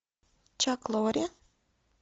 чак лорри